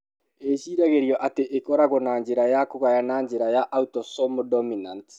Ĩciragĩrio atĩ ĩkoragwo na njĩra ya kũgaya na njĩra ya autosomal dominant.